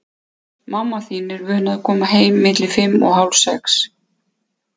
Mamma þín er vön að koma heim milli fimm og hálf sex.